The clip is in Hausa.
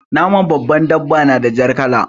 Naman babbar dabba na da jar kala.